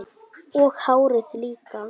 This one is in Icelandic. Og hárið líka!